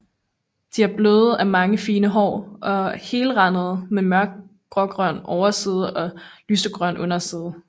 De er bløde af mange fine hår og helrandede med mørkt grågrøn overside og lysegrøn underside